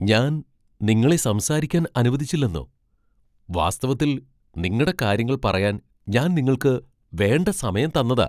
ഞാൻ നിങ്ങളെ സംസാരിക്കാൻ അനുവദിച്ചില്ലെന്നോ! വാസ്തവത്തിൽ നിങ്ങടെ കാര്യങ്ങൾ പറയാൻ ഞാൻ നിങ്ങൾക്ക് വേണ്ട സമയം തന്നതാ.